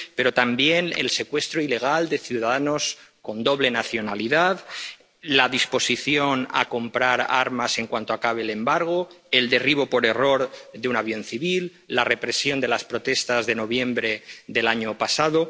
pero también el secuestro ilegal de ciudadanos con doble nacionalidad, la disposición a comprar armas en cuanto acabe el embargo, el derribo por error de un avión civil, la represión de las protestas de noviembre del año pasado.